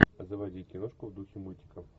заводи киношку в духе мультиков